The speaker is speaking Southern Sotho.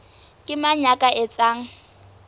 ke mang ya ka etsang